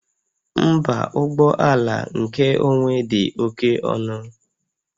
Mba, ụgbọ ala nkeonwe dị oke ọnụ